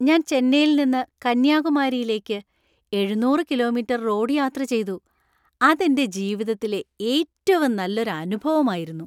ഞാൻ ചെന്നൈയിൽ നിന്ന് കന്യാകുമാരിയിലേക്ക് എഴുന്നൂറ് കിലോമീറ്റർ റോഡ് യാത്ര ചെയ്തു , അത് എന്‍റെ ജീവിതത്തിലെ ഏറ്റവും നല്ലൊരു അനുഭവായിരുന്നു.